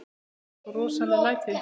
Það verða svo rosaleg læti.